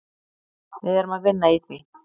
Við erum að vinna í því.